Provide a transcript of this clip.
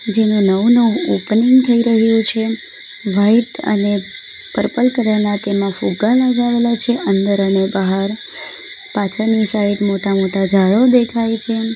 નવું નવું ઓપનિંગ થઈ રહ્યું છે વાઈટ અને પર્પલ કલર ના તેમાં ફુગ્ગા લગાવેલા છે અંદર અને બહાર પાછળની સાઈડ મોટા મોટા ઝાડો દેખાય છે.